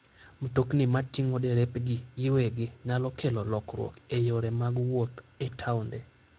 Mtokni mating'o derepgi giwegi nyalo kelo lokruok e yore mag wuoth e taonde.